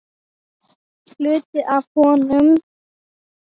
Hluti af honum.